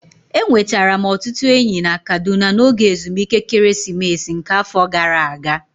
Enwetara m ọtụtụ enyi na Kaduna n'oge ezumike ekeresimesi nke afọ gara aga